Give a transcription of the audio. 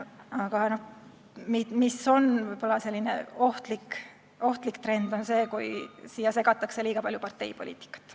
Aga ohtlik trend on võib-olla see, kui siia segatakse liiga palju parteipoliitikat.